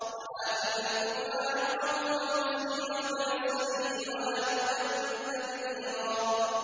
وَآتِ ذَا الْقُرْبَىٰ حَقَّهُ وَالْمِسْكِينَ وَابْنَ السَّبِيلِ وَلَا تُبَذِّرْ تَبْذِيرًا